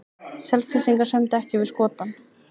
Selfyssingar sömdu ekki við Skotann